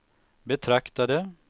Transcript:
betraktade